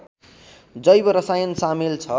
जैव रसायन सामेल छ